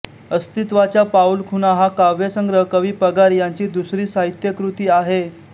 अस्तित्वाच्या पाऊल खुणा हा काव्यसंग्रह कवी पगार यांची दुसरी साहित्यकृती आहे